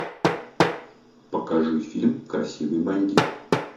покажи фильм красивый бандит